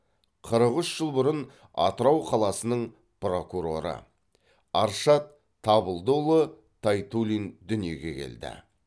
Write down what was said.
қырық үш жыл бұрын атырау қаласының прокуроры аршат табылдыұлы тайтуллин дүниеге келді